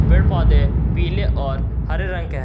पेड़ पौधे पीले और हरे रंग के हैं।